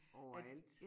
Overalt